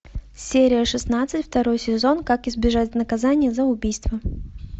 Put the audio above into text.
серия шестнадцать второй сезон как избежать наказания за убийство